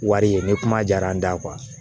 Wari ye ni kuma jara an da